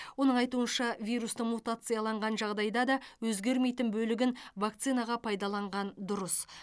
оның айтуынша вирустың мутацияланған жағдайда да өзгермейтін бөлігін вакцинаға пайдаланған дұрыс